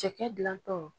Cɛkɛ dilantɔ